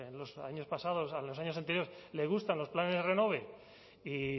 los años anteriores le gustan los planes renove y